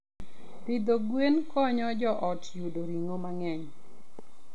Pidho gwen konyo joot yudo ring'o mang'eny.